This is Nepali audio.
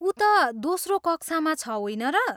ऊ त दोस्रो कक्षामा छ होइन र?